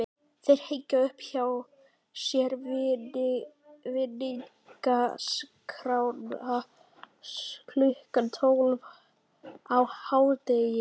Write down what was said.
Þeir hengja upp hjá sér vinningaskrána klukkan tólf á hádegi.